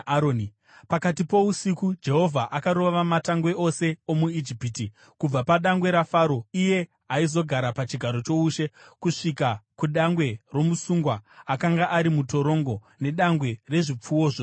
Pakati pousiku Jehovha akarova matangwe ose omuIjipiti, kubva padangwe raFaro, iye aizogara pachigaro choushe, kusvika kudangwe romusungwa, akanga ari mutorongo, nedangwe rezvipfuwo zvosewo.